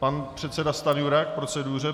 Pan předseda Stanjura k proceduře.